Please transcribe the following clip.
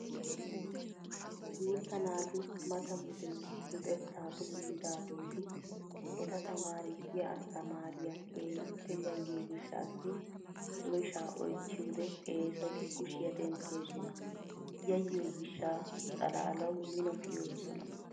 Guutta naati mata wode luxettaa doommidaageeti eta tamaarisiya asttamaariyaa keehippe yayyiyoo gishshaassi oyshshaa oychchiyoodee eesoti kushiyaa denttoosona. Yayyiyo gishsha xalaalawu mino kiyoosona.